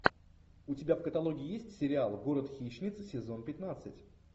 у тебя в каталоге есть сериал город хищниц сезон пятнадцать